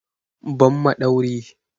Give me screwdriver!